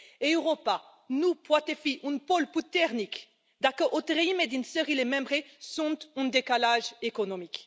Europa nu poate fi un pol puternic dacă o treime din țările membre sunt în decalaj economic.